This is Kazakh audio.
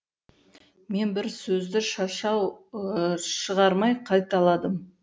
мен бір сөзді шашау шығармай қайталадым